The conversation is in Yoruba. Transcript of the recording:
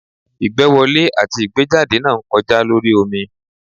Igbẹ́wọlẹ atí igbejádẹ na ń kojá lorí omí